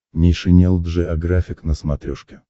нейшенел джеографик на смотрешке